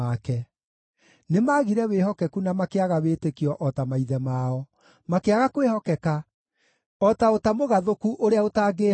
Nĩmagire wĩhokeku na makĩaga wĩtĩkio o ta maithe mao, makĩaga kwĩhokeka o ta ũta mũgathũku ũrĩa ũtangĩĩhokwo.